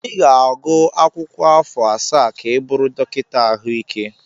Ị ga-agụ akwụkwọ afọ asaa ka ị bụrụ dọkịta ahụike.